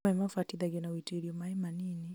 amwe magabatithio na gũitĩrĩrio maĩ manini